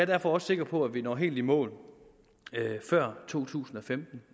derfor også sikker på at vi når helt i mål før to tusind og femten